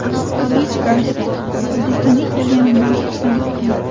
Luis Garsiya: O‘zbekistonga kelganimdan xursandman.